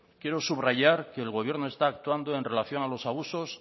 quiero subrayar que el gobierno está actuando en relación a los abusos